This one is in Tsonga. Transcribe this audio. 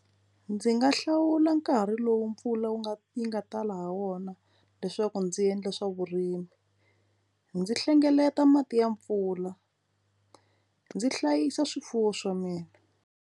Ndzi nga hlawula nkarhi lowu mpfula wu nga yi nga tala ha wona leswaku ndzi endle swa vurimi ndzi hlengeleta mati ya mpfula ndzi hlayisa swifuwo swa mina.